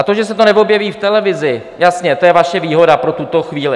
A to, že se to neobjeví v televizi, jasně, to je vaše výhoda pro tuto chvíli.